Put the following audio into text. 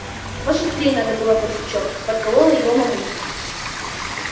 пошустрей надо было барсучок подколола его мамулька